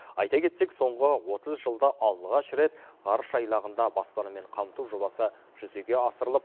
айта кетсек соңғы отыз жылда алғаш рет ғарыш айлағында баспанамен қамту жобасы жүзеге асырылып